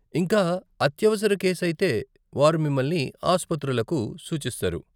ఇంకా, అత్యవసర కేసు అయితే వారు మిమ్మల్ని ఆసుపత్రులకు సూచిస్తారు.